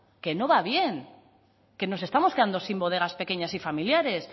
que no va bien que nos estamos quedando sin bodegas pequeñas y familiares